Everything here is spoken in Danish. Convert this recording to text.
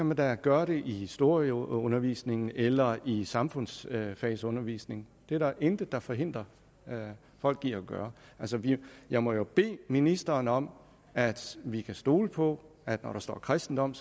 man da gøre det i historieundervisningen eller i samfundsfagsundervisningen det er der intet der forhindrer folk i at gøre altså jeg må bede ministeren om at vi kan stole på at når der står kristendom